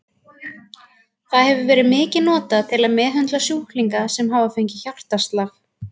Það hefur verið mikið notað til að meðhöndla sjúklinga sem hafa fengið hjartaslag.